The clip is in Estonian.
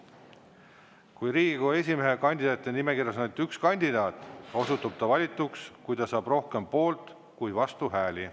Kui Riigikogu esimehe kandidaatide nimekirjas on ainult üks kandidaat, osutub ta valituks, kui ta saab rohkem poolt- kui vastuhääli.